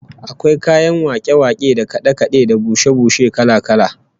Akwai kayan wake-wake da kade-kade da bushe-bushe kala-kala